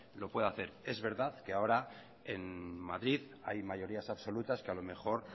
lo puede hacer es verdad que ahora en madrid hay mayorías absolutas que a lo mejor